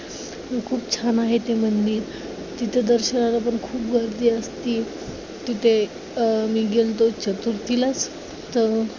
खूप छान आहे ते मंदिर. तिथे दर्शनाला पण खूप गर्दी असते. तिथे अं मी गेलतो चतुर्थीला तर